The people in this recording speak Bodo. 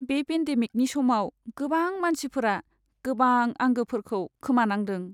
बे पेन्डेमिकनि समाव गोबां मानसिफोरा गोबां आंगोफोरखौ खोमानांदों।